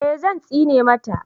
eh Zan tsine mata